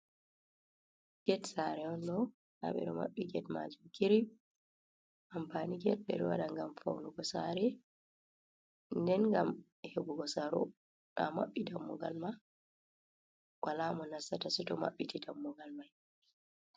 Get sare on ɗo nda ɓeɗo maɓɓi get majum kirip ampani get ɓeɗo waɗa gam faunugo sare nden gam heɓugo saro a mabbi dammugal ma wala mo nasata soto maɓɓiti dammugal mai.